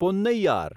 Ponnaiyar